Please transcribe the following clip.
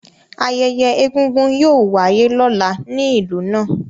Ayẹyẹ Egúngún yóò wáyé lọ́la ní ìlú náà